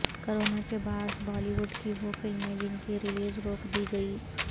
corona کے باعث Bollywood کی وہ فلمیں جن کی ریلیز روک دی گئی